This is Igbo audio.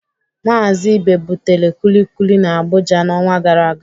Mazị Ibe butere Kulikuli n'Abuja n'ọnwa gara aga.